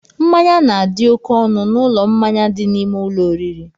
Mmanya na-adị oké ọnụ n'ụlọ mmanya dị n'ime ụlọ oriri